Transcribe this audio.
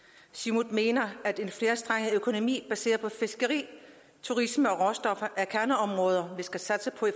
siumut mener at en flerstrenget økonomi baseret på fiskeri turisme og råstoffer er kerneområder vi skal satse på